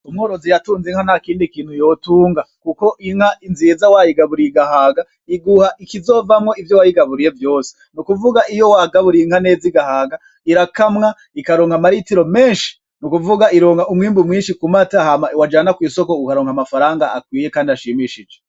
Umworozi yatunze inka ntakindi kintu yotunga, kuko inka nziza wayigaburiye igahaga iguha ikizovamwo ivyo wayigaburiye vyose, ni kuvuga iyo wagaburiye inka neza igahaga irakamwa ikaronka amaritiro menshi n'ukuvuga ironka umwimbu mwinshi ku mata hama wajana kw'isoko ukaronka amafaranga akwiye kandi ashimishije.